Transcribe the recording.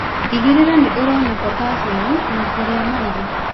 Tigĩrĩra nĩ ũrona potaciamu na kũrĩa marigu.